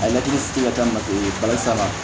A ye laturu sigi ka kɛ mate barisa